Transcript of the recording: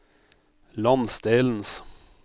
landsdelens